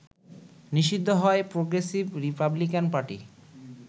নিষিদ্ধ হয় Progressive Republican party